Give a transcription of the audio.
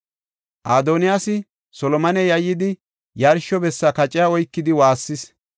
Adoniyaasi Solomone yayyidi, yarsho bessa kaceta oykidi woossis.